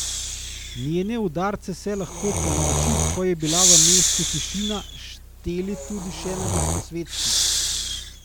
Njene udarce so lahko ponoči, ko je bila v mestu tišina, šteli tudi še na Gosposvetski.